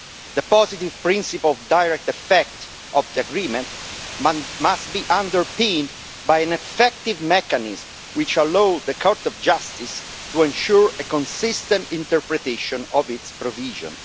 The positive principle of direct effect of the agreement must be underpinned by an effective mechanism which allows the Court of Justice to ensure a consistent interpretation of its provisions.